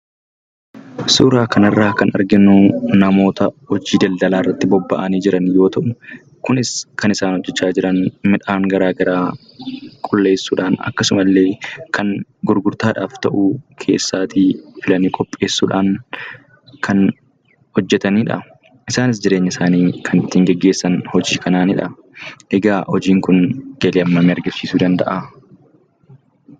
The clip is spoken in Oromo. Suuraa kanarraa kan arginu namoota hojii daldalaarratti bobba'anii jiran yoo ta'u kunis kan isaan hojjechaa jiran midhaan garaa garaa qulleessuudhaan akkasumallee kan gurgurtaadhaaf ta'u keessaatii filanii qopheessuudhaan kan hojjetanidha. isaanis jireenya isaanii kan ittiin geggeessan hojii kanaanidha. Egaa hojiin kun galii hammamii argamsiisuu danda'aa?